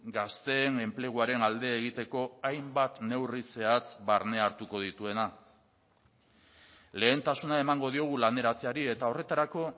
gazteen enpleguaren alde egiteko hainbat neurri zehatz barne hartuko dituena lehentasuna emango diogu laneratzeari eta horretarako